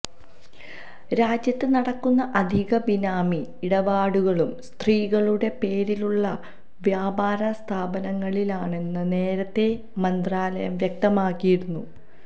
രാജ്യത്ത് നടക്കുന്ന അധിക ബിനാമി ഇടപാടുകളും സ്ത്രീകളുടെ പേരിലുള്ള വ്യാപാര സ്ഥാപനങ്ങളിലാണെന്ന് നേരത്തെ മന്ത്രാലയം വ്യക്തമാക്കിയിരുന്നു